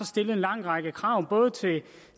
stillet en lang række krav både til